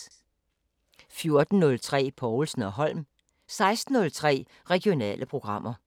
14:03: Povlsen & Holm 16:03: Regionale programmer